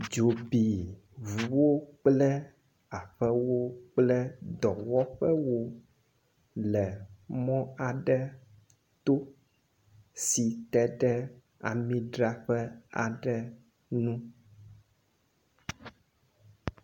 Dzo bi ŋuwo kple aƒewo kple dɔwɔƒewo le mɔ aɖe to si te ɖe amidraƒe aɖe ŋu.